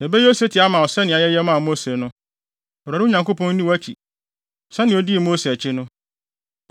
Yɛbɛyɛ osetie ama wo sɛnea yɛyɛ maa Mose no. Awurade wo Nyankopɔn, nni wʼakyi sɛnea odii Mose akyi no.